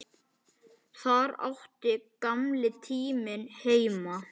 Þar átti gamli tíminn heima.